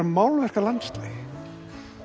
málverk af landslagi